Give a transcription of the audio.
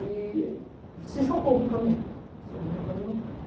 E se chocou com o caminhão, chocou com o caminhão